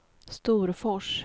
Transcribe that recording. Storfors